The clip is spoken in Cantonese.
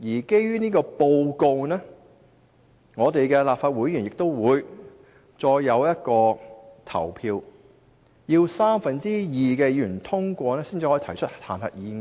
基於這份報告，立法會議員亦需再進行表決，如獲三分之二議員通過才可提出彈劾議案。